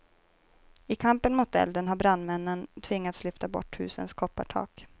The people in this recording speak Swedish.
I kampen mot elden har brandmännen tvingats lyfta bort husens koppartak.